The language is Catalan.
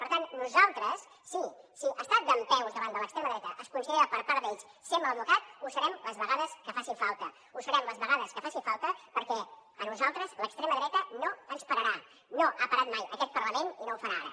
per tant nosaltres sí si estar dempeus davant de l’extrema dreta es considera per part d’ells ser mal educat ho serem les vegades que faci falta ho serem les vegades que faci falta perquè a nosaltres l’extrema dreta no ens pararà no ha parat mai aquest parlament i no ho farà ara